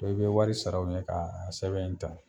dɔn i be wari sara u ye k'a sɛbɛn in ta